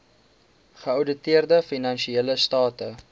geouditeerde finansiële state